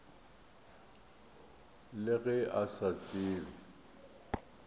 le ge a sa tsebe